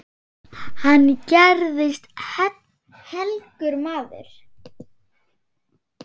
Hann gerðist helgur maður.